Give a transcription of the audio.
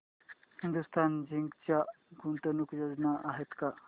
Hindustan Zinc च्या गुंतवणूक योजना आहेत का